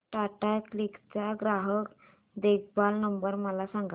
Tata click चा ग्राहक देखभाल नंबर मला सांगा